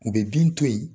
U bɛ bin to yen